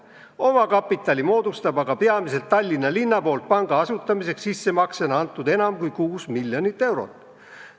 Omakapitali moodustab aga peamiselt Tallinna linna poolt panga asutamiseks sissemaksena antud enam kui kuus miljonit eurot.